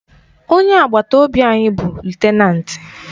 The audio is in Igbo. Onye agbata obi anyị bụ lutenanti